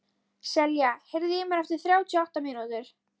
Selja, heyrðu í mér eftir þrjátíu og átta mínútur.